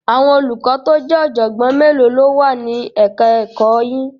Àwọn olùkọ́ tó jẹ́ ọ̀jọ̀gbọ́n mélòó ló wà ní ẹ̀ka ẹ̀kọ́ yín?